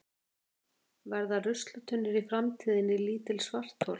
Verða ruslatunnur í framtíðinni lítil svarthol?